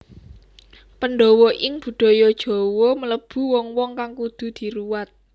Pandhawa ing budaya Jawa mlebu wong wong kang kudu diruwat